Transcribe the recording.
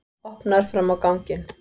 Opnar fram á ganginn.